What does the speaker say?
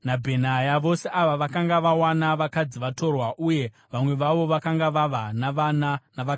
Vose ava vakanga vawana vakadzi vatorwa, uye vamwe vavo vakanga vava navana navakadzi ava.